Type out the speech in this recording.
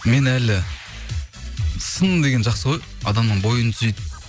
мен әлі сын деген жақсы ғой адамның бойын түзейді